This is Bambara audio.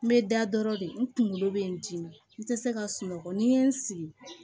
N bɛ da dɔ de n kunkolo bɛ n dimi n tɛ se ka sunɔgɔ ni n ye n sigi